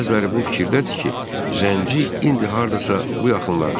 Bəziləri bu fikirdədir ki, Zənci indi hardasa bu yaxınlardadır.